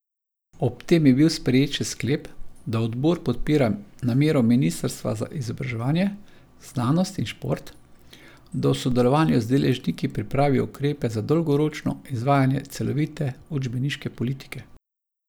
Ob tem je bil sprejet še sklep, da odbor podpira namero ministrstva za izobraževanje, znanost in šport, da v sodelovanju z deležniki pripravi ukrepe za dolgoročno izvajanje celovite učbeniške politike.